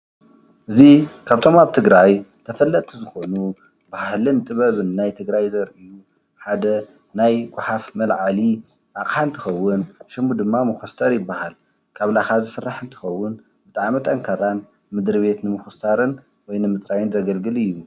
እዙይ ካብቶም ኣብ ትግራይ ተፈለጥቲ ዝኮኑ ባህልን ጥበብን ናይ ትግራይ ዘሪኡ ሓደ ናይ ጓሓፍ መልዓሊ ኣቅሓ እንትከውን ሽሙ ድማ መኮስተር ይብሃል። ካብ ላኻ ዝስራሕ እንትኸውን ብጣዕሚ ጠንካራን ምንድርቤት ንምኹስታርን ወይ ንምፅራይን ዘገልግል እዩ።